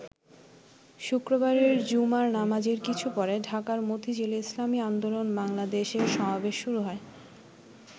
শুক্রবারের জুমার নামাজের কিছু পরে ঢাকার মতিঝিলে ইসলামী আন্দোলন বাংলাদেশের সমাবেশ শুরু হয়।